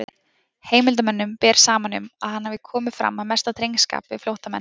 Heimildarmönnum ber saman um, að hann hafi komið fram af mesta drengskap við flóttamenn.